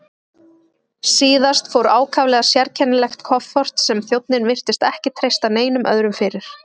Síðast fór ákaflega sérkennilegt kofort sem þjónninn virtist ekki treysta neinum öðrum fyrir.